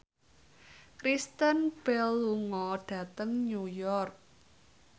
Kristen Bell lunga dhateng New York